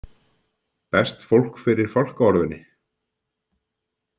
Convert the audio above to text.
Berst fólk fyrir fálkaorðunni?